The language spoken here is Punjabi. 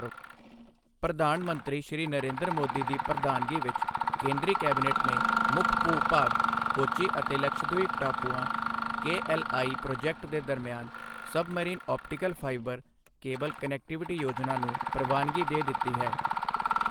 ਪ੍ਰਧਾਨ ਮੰਤਰੀ ਸ਼੍ਰੀ ਨਰਿੰਦਰ ਮੋਦੀ ਦੀ ਪ੍ਰਧਾਨਗੀ ਵਿੱਚ ਕੇਂਦਰੀ ਕੈਬਨਿਟ ਨੇ ਮੁੱਖ ਭੂ ਭਾਗ ਕੋਚੀ ਅਤੇ ਲਕਸ਼ਦ੍ਵੀਪ ਟਾਪੂਆਂ ਕੇਐੱਲਆਈ ਪ੍ਰੋਜੈਕਟ ਦੇ ਦਰਮਿਆਨ submarine optical fibre cable connectivity ਯੋਜਨਾ ਨੂੰ ਪ੍ਰਵਾਨਗੀ ਦੇ ਦਿੱਤੀ ਹੈ।